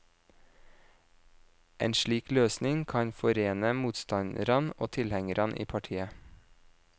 En slik løsning kan forene motstanderne og tilhengerne i partiet.